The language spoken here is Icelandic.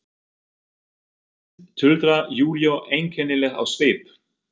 Hefnd, tuldrar Júlía einkennileg á svip.